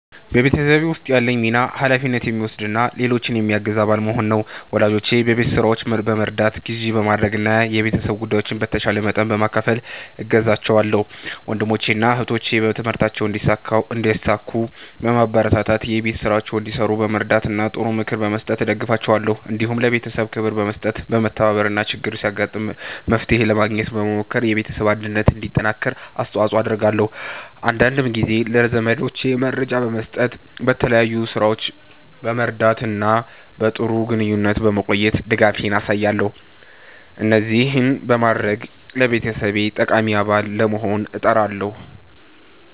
በቤተሰቤ ውስጥ ያለኝ ሚና ኃላፊነት የሚወስድ እና ሌሎችን የሚያግዝ አባል መሆን ነው። ወላጆቼን በቤት ሥራዎች በመርዳት፣ ግዢ በማድረግ እና የቤተሰብ ጉዳዮችን በተቻለ መጠን በመካፈል እገዛቸዋለሁ። ወንድሞቼንና እህቶቼን በትምህርታቸው እንዲሳኩ በማበረታታት፣ የቤት ሥራቸውን እንዲሠሩ በመርዳት እና ጥሩ ምክር በመስጠት እደግፋቸዋለሁ። እንዲሁም ለቤተሰቤ ክብር በመስጠት፣ በመተባበር እና ችግር ሲያጋጥም መፍትሄ ለማግኘት በመሞከር የቤተሰብ አንድነት እንዲጠናከር አስተዋጽኦ አደርጋለሁ። አንዳንድ ጊዜም ለዘመዶቼ መረጃ በመስጠት፣ በተለያዩ ሥራዎች በመርዳት እና በጥሩ ግንኙነት በመቆየት ድጋፌን አሳያለሁ። እንደዚህ በማድረግ ለቤተሰቤ ጠቃሚ አባል ለመሆን እጥራለሁ።"